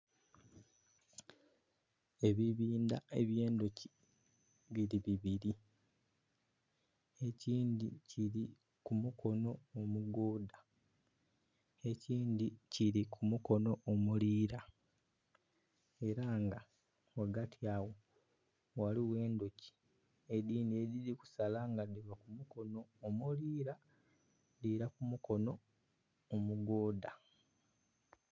Ebibindha eby'endhuki biri bibiri ekindhi kiri ku mukono omugoodha ekindhi kiri ku mukono omuliira era nga ghagati agho ghaligho endhuki edhindhi edhiri kusala nga dhiva ku mukono omuliira dhira ku mukono omugoodha.